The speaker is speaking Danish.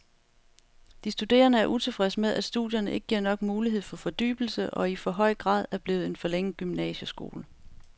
De studerende er utilfredse med, at studierne ikke giver nok mulighed for fordybelse og i for høj grad er blevet en forlænget gymnasieskole.